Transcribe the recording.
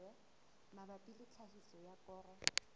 mabapi le tlhahiso ya koro